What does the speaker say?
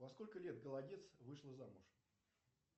во сколько лет голодец вышла замуж